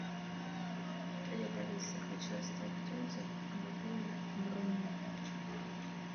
привет алиса хочу оставить отзыв об отеле бруно